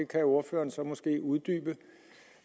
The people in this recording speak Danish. kan ordføreren så måske uddybe